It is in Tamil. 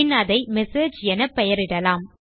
பின் அதை மெசேஜ் எனப் பெயரிடலாம்